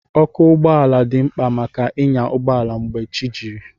Ọkụ ụgbọala dị mkpa maka ịnya ụgbọala mgbe chi jiri